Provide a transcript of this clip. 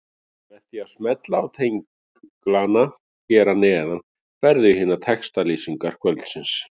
Með því að smella á tenglana hér að neðan ferðu í hinar textalýsingar kvöldsins.